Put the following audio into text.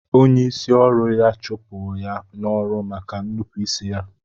Onye isi ọru ya chụpụ ya n'ọrụ maka nupu isi ya.